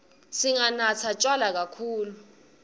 singanatsi tjwala kakhulu